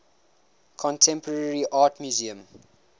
contemporary art museum